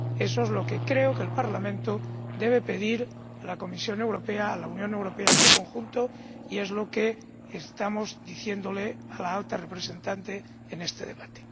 Eso es lo que creo que el Parlamento debe pedir a la Comisión Europea, a la Unión Europea en su conjunto, y es lo que estamos diciéndole a la Alta Representante en este debate.